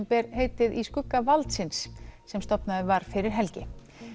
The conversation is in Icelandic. ber heitið í skugga valdsins sem stofnaður var fyrir helgi